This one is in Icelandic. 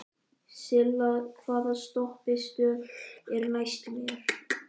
Silla, hvaða stoppistöð er næst mér?